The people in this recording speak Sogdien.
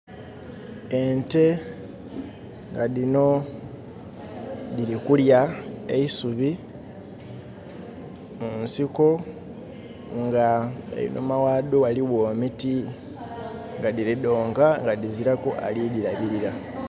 Ente nga dhino dhilikurya eisubi munsiko nga einhuma ghadho ghaligho emiti nga dhilidhonka nga dhizilaku alidhilabilira.